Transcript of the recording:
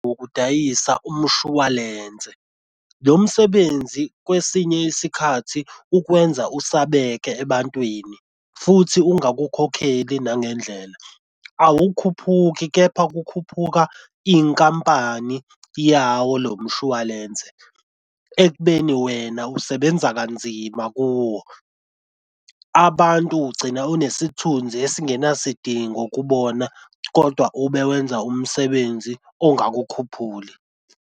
Wokudayisa umshwalense, lo msebenzi kwesinye isikhathi ukwenza usabheke ebantwini futhi ungakukhokheli nangendlela. Awukhuphuki kepha kukhuphuka inkampani yawo lo mshwalense, ekubeni wena usebenza kanzima kuwo. Abantu ugcina unesithunzi esingenasidingo kubona kodwa ube wenza umsebenzi ongakukhuphuli.